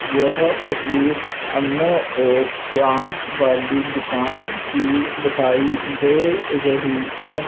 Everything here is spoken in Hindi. यह तस्वीर हमें एक प्लांट वाली दुकान की दिखाई दे रही है।